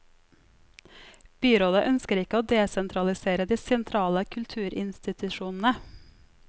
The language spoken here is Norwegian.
Byrådet ønsker ikke å desentralisere de sentrale kulturinstitusjonene.